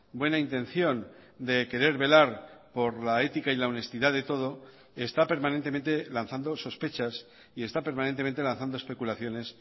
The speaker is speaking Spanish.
buena intención de querer velar por la ética y la honestidad de todo está permanentemente lanzando sospechas y está permanentemente lanzando especulaciones